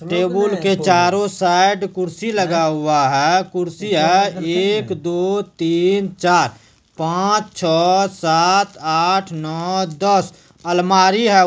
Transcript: Table के चारो side कुर्सी लगा हुआ है कुर्सी है एक दो तीन चार पांच छ सात आठ नौ दस अलमारी है।